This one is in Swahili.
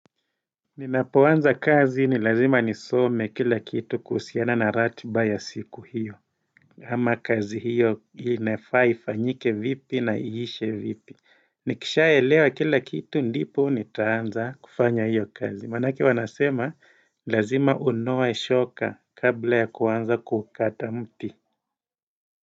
Ninapoanza kazi ni lazima nisome kila kitu kuhusiana na ratiba ya siku hiyo ama kazi hiyo inafaa ifanyike vipi na iishe vipi Nikishaelewa kila kitu ndipo nitaanza kufanya hiyo kazi Manake huwa nasema lazima unoe shoka kabla ya kuanza kukata mti.